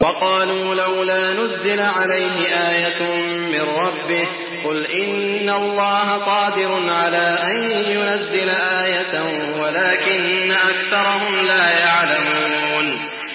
وَقَالُوا لَوْلَا نُزِّلَ عَلَيْهِ آيَةٌ مِّن رَّبِّهِ ۚ قُلْ إِنَّ اللَّهَ قَادِرٌ عَلَىٰ أَن يُنَزِّلَ آيَةً وَلَٰكِنَّ أَكْثَرَهُمْ لَا يَعْلَمُونَ